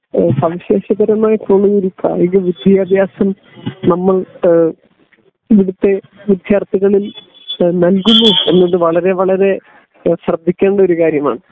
സവിശേഷകരമായിട്ടുള്ള ഒരു കായിക വിദ്യാഭ്യാസം നമ്മൾ ഇവിടത്തെ വിദ്യാർഥികളിൽ നല്കുന്നു എന്നത് വളരെ വളരെ ശ്രദ്ധിക്കേണ്ട ഒരു കാര്യമാണ്